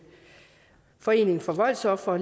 foreningen for voldsofre